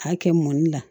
A kɛ mɔni na